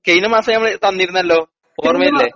കയിനമാസം ഞങ്ങള് തന്നിരുന്നല്ലോ ഓർമ്മയില്ലേ?